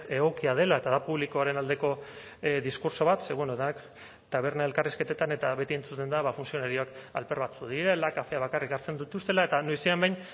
egokia dela eta da publikoaren aldeko diskurtso bat ze bueno da taberna elkarrizketetan eta beti entzuten da ba funtzionarioak alper batzuk direla kafeak bakarrik hartzen dituztela eta noizean behin